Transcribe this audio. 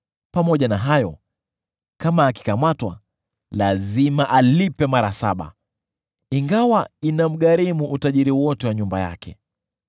Pamoja na hayo, kama akikamatwa, lazima alipe mara saba, ingawa inamgharimu utajiri wote wa nyumba yake.